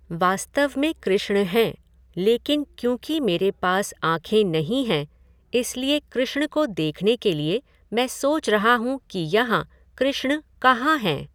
वास्तव में कृष्ण हैं, लेकिन क्योंकि मेरे पास आँखें नहीं है इसलिए कृष्ण को देखने के लिए मैं सोच रहा हूँ कि यहाँ कृष्ण कहां हैं?